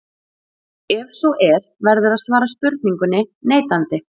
Ef svo er verður að svara spurningunni neitandi.